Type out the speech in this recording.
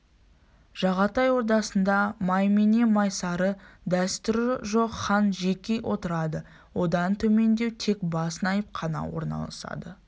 жағатай ордасында маймене майсары дәстүрі жоқ хан жеке отырады одан төмендеу тек бас наип қана орналасады